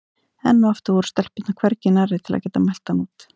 Enn og aftur voru stelpurnar hvergi nærri til að geta mælt hann út.